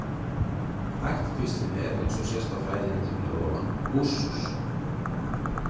Ættkvíslin er, eins og sést á fræðiheitinu hér að ofan, Ursus.